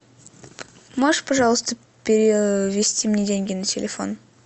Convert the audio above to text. можешь пожалуйста перевести мне деньги на телефон